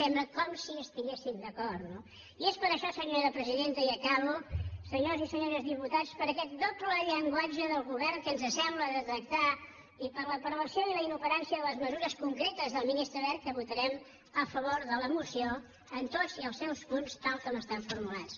sembla com si hi estiguessin d’acord no i és per això senyora presidenta i acabo senyores i senyors diputats per aquest doble llenguatge del govern que ens sembla detectar i per la prevenció i la inoperància de les mesures concretes del ministre wert que votarem a favor de la moció en tots els seus punts tal com estan formulats